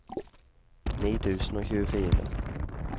ni tusen og tjuefire